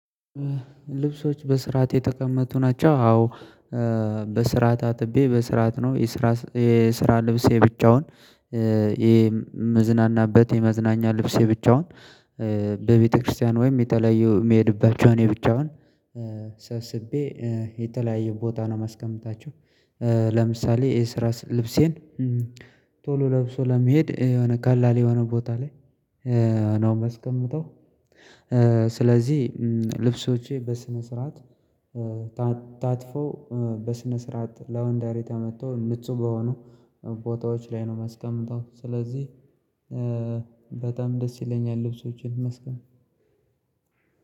ልብሶች በስራአት የተቀመጡ ናቸው። አዎ በስራአት አጥቤ በስራት ነው። የስራ የስራ ልብሴ ብቻውን የመዝናናበት የመዝናኛ ልብሴ ብቻውን። በቤተክርስቲያን ወይም የተለያዩ የሚሄድባቸው እኔ ብቻውን ሰብስቤ የተለያየ ቦታ ነው ማስቀመጣቸው። ለምሳሌ የስራ ልብሴን ቶሎ ለብሶ ለመሄድ የሆነ ቀላሌ የሆነ ቦታ ላይ ነው የማስቀምጠው። ስለዚህ ልብሶቼ በስነ ስርዓት ታጥፎ በስነ ስርዓት ላወንደሪ ተመቶ ንጹህ በሆኑ ቦታዎች ላይ ነው መስቀምጠው። ስለዚህ በጣም ደስ ይለኛል ልብሶቼን ይመስገን።